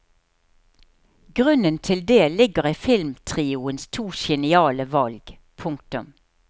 Grunnen til det ligger i filmtrioens to geniale valg. punktum